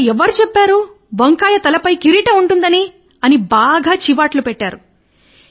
నీతో ఎవరు చెప్పారు వంకాయ తల పైన కిరీటం ఉందని అన్నారు